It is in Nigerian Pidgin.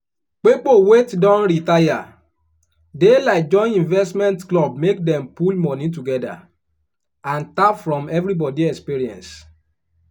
pipo wet don retire dey like join investment club make dem pull money together and tap from everybody experience.